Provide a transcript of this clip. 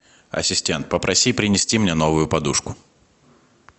ассистент попроси принести мне новую подушку